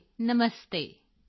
Radhe ਨਮਸਤੇ